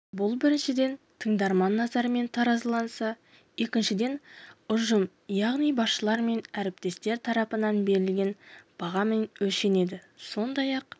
бұл біріншіден тыңдарман назарымен таразыланса екіншіден ұжым яғни басшылар мен әріптестер тарапынан берілген бағамен өлшенеді сондай-ақ